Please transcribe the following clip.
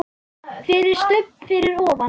FYRIR STUBB fyrir ofan.